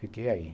Fiquei aí.